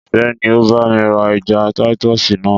Ìfẹ́ ni o bá mi ra ẹja títọ̀sì náà.